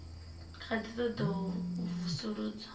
kha ḓi ṱoḓa u vusuludzwa